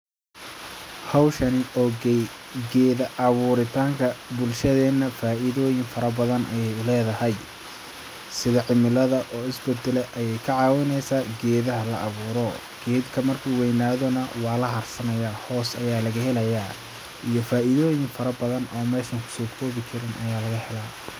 Hawshani oo geeda abuuritanka bulshadeena faidooyin fara badan ayay uledahay sidi cimilada oo isbadala ayay ka caawineesa geedaha la abuuro geedka markuu weynaado nah waa la harsanayaa hoos ayaa laga helayaa iyo faidooyin fara badan oo meshan hada kusoo koobi karin ayaa lkaga helaa.